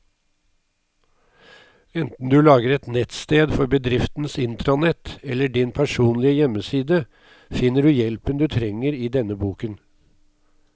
Enten du lager et nettsted for bedriftens intranett eller din personlige hjemmeside, finner du hjelpen du trenger i denne boken.